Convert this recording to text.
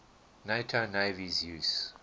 nato navies use